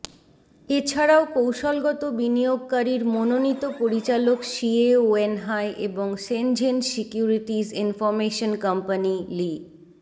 এছাড়াও কৌশলগত বিনিয়োগকারীর মনোনীত পরিচালক শিয়ে ওয়েনহাই এবং শেনঝেন সিকিউরিটিজ ইনফরমেশন কোম্পানি লি